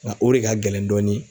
Ŋa o de ka gɛlɛn dɔɔnin